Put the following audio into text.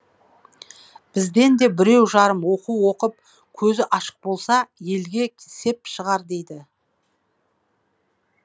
бізден де біреу жарым оқу оқып көзі ашық болса елге сеп шығар дейді